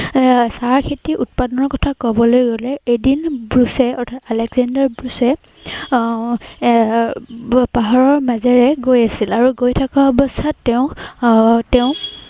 এৰ চাহ খেতি উৎপাদনৰ কথা কবলৈ গলে, এদিন ব্ৰুছে অৰ্থাৎ আলেকজেণ্ডাৰ ব্ৰুছে এৰ আহ এৰ পাহাৰৰ মাজেৰে গৈ আছিল। আৰু গৈ থকা অৱস্থাত তেওঁ আহ তেওঁ